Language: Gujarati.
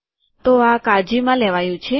તો આ કાળજીમાં લેવાયુ છે